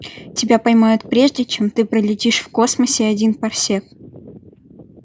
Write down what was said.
тебя поймают прежде чем ты пролетишь в космосе один парсек